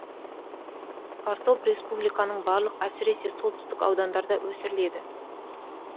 картоп республиканың барлық әсіресе солтүстік аудандарында өсіріледі